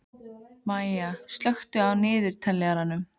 Maya, slökktu á niðurteljaranum.